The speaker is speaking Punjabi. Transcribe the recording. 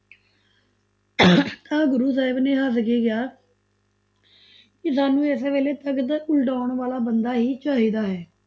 ਤਾਂ ਗੁਰੂ ਸਾਹਿਬ ਨੇ ਹੱਸ ਕੇ ਕਿਹਾ ਕਿ ਸਾਨੂੰ ਇਸ ਵੇਲੇ ਤਖਤ ਉਲਟਾਓਣ ਵਾਲਾ ਬੰਦਾ ਹੀ ਚਾਹੀਦਾ ਹੈ।